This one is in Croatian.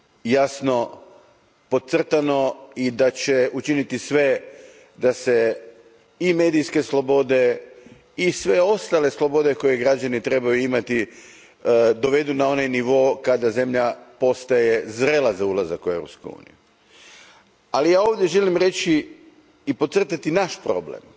jasno podcrtano, i da će učiniti sve da se i medijske slobode i sve ostale slobode koje građani trebaju imati dovedu na onaj nivo kada zemlja postaje zrela za ulazak u Europsku uniju, ali ja ovdje želim reći i podcrtati naš problem.